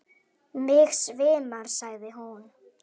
Mig svimar, sagði hún.